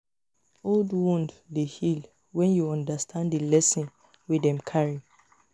old wound dey heal wen yu undastand di lesson wey dem carry